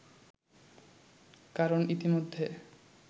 কারণ ইতিমধ্যে